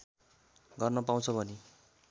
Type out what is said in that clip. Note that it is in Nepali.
गर्न पाउँछ भनी